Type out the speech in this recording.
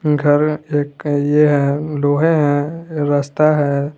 घर एक का ये है लोहेे है रास्ता है।